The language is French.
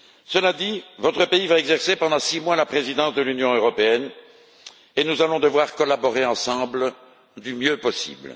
Cela dit, votre pays va exercer, pendant six mois, la présidence de l'Union européenne et nous allons devoir collaborer ensemble du mieux possible.